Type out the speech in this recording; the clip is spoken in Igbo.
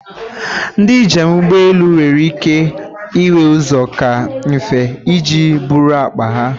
Ndị njem ụgbọ elu nwere ike ịnwe ụzọ kaa nfe iji eburu akpa ha.